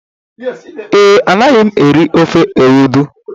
Ee, Anaghị m eri ofe Ewedu.